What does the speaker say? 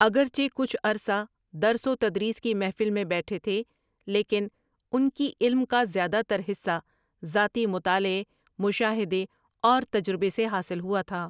اگرچہ کچھ عرصہ درس و تدریس کی محفل میں بیٹھے تھے لیکن ان کی علم کا زیادہ تر حصہ ذاتی مطالعے، مشاھدے اور تجربے سے حاصل ہوا تھا ۔